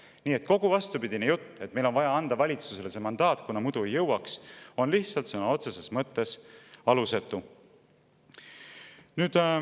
Nii et kogu vastupidine jutt, et meil on vaja anda valitsusele see mandaat, kuna muidu ei jõuaks, on lihtsalt sõna otseses mõttes alusetu.